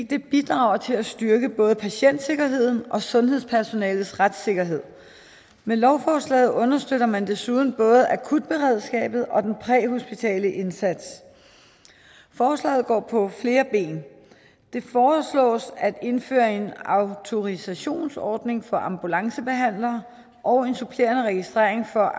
det bidrager til at styrke både patientsikkerheden og sundhedspersonalets retssikkerhed med lovforslaget understøtter man desuden både akutberedskabet og den præhospitale indsats forslaget går på flere ben det foreslås at indføre en autorisationsordning for ambulancebehandlere og en supplerende registrering for